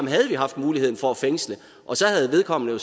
havde haft muligheden for at fængsle og så havde vedkommende jo